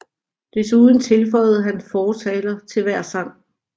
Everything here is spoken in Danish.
Desuden tilføjede han fortaler til hver sang